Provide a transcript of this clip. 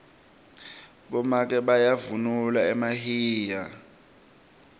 bomake bavunula emahinya